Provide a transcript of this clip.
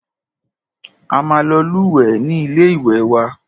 A máa lọ lúwẹ̀ẹ́ ní ilé ìwé wa.